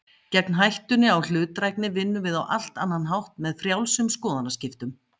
Gegn hættunni á hlutdrægni vinnum við á allt annan hátt, með frjálsum skoðanaskiptum.